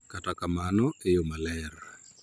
Kata kamano, e yo maler,